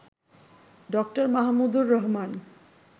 ড. মাহমুদুর রহমান